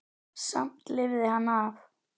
Samt lifði hann af.